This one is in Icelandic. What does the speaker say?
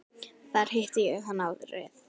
Þar hitti ég hann árið